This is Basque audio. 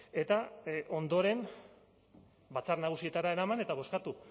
eta ondoren batzar nagusietara eraman eta bozkatu